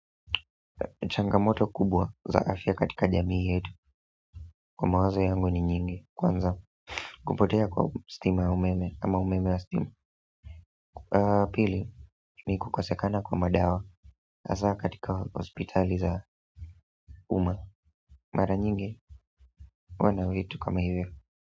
Changamoto kubwa za afya katika jamii yetu kwa mawazo yangu ni nyingi kwanza kupotea kwa stima ya umeme ama umeme ya stima pili nikukosekana kwa madawa hasa katika hospitali za umma mara nyingi huwa ni vitu kama hivyo.